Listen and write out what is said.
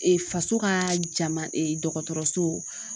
Ee faso ka jama dɔgɔtɔrɔso